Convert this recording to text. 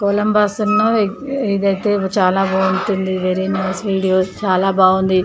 Columbus ఇదైతే చాలా బాగుంటుంది. వెరీ నైస్ వీడియో చాలా బాగుంది.